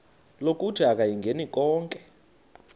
lokuthi akayingeni konke